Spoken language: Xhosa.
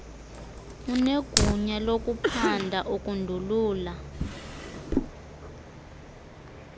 unegunya lokuphanda ukundulula